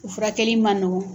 U furakɛli man nɔgɔn.